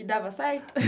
E dava certo?